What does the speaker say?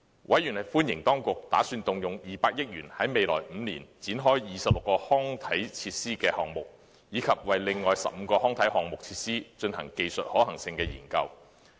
委員歡迎當局打算動用200億元在未來5年展開26個康體設施項目，以及為另外15個康體設施項目進行技術可行性研究。